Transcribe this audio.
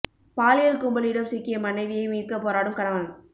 பாலியல் கும்பலிடம் சிக்கிய மனைவியை மீட்க போராடும் கணவன்